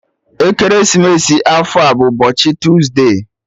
Ekeresimesi afọ a bụ ụbọchị tuesde